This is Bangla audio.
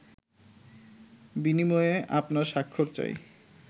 বিনিময়ে আপনার স্বাক্ষর চাই